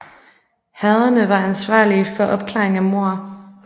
Herrederne var ansvarlige for opklaring af mord